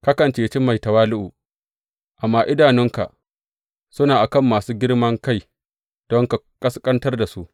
Kakan ceci mai tawali’u, amma idanunka suna a kan masu girman kai don ka ƙasƙantar da su.